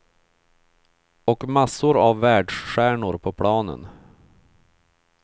Och massor av världsstjärnor på planen.